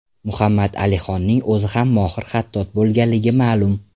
Muhammad Alixonning o‘zi ham mohir xattot bo‘lganligi ma’lum.